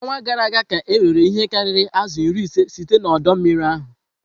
N'ọnwa gara aga ka erere ihe karịrị azụ iri ise site na ọdọ mmiri ahụ.